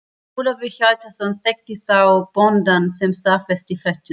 Ólafur Hjaltason þekkti þar bóndann sem staðfesti fréttirnar.